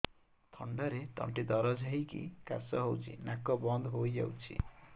ଥଣ୍ଡାରେ ତଣ୍ଟି ଦରଜ ହେଇକି କାଶ ହଉଚି ନାକ ବନ୍ଦ ହୋଇଯାଉଛି